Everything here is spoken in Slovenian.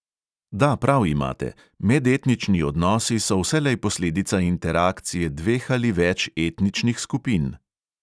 Da, prav imate, medetnični odnosi so vselej posledica interakcije dveh ali več etničnih skupin.